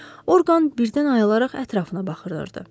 Orqan birdən ayılaraq ətrafına baxırdı.